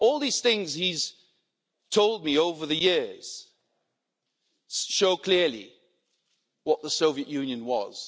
All these things that he has told me over the years show clearly what the Soviet Union